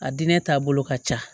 A diinɛ taabolo ka ca